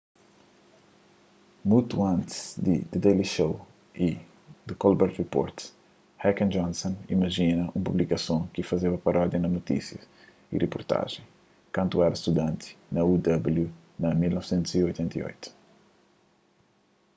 mutu antis di the daily show y the colbert report heck y johnson imajina un publikason ki ta fazeba parodia na notísias y riportajens kantu es éra studanti na uw na 1988